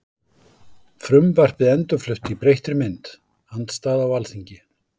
Frumvarpið endurflutt í breyttri mynd- Andstaða á Alþingi